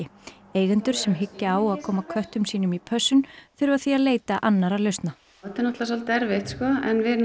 eigendur sem hyggja á að koma köttum sínum í pössun þurfa því að leita annarra lausna þetta er svolítið erfitt sko en við